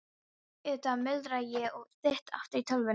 Auðvitað, muldra ég og þýt aftur í tölvuna.